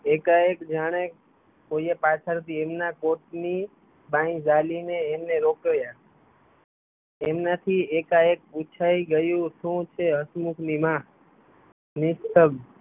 એકા એક જાણે કોઈએ પાછળથી એમના કોટ ની બાઈ ઝાલી ને એમને રોક્યા એમનાં થી એકા એક પૂછાય ગયું શું છે હસમુખ ની માં નિસ્તભં